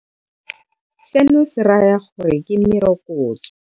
Seno se raya gore ke merokotso.